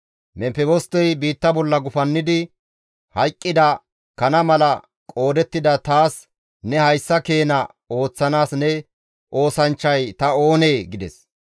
Memfebostey biitta bolla gufannidi, «Hayqqida kana mala qoodettida taas ne hayssa keena ooththanaas ne oosanchchay ta oonee?» gides.